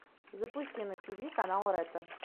запусти на тв канал ретро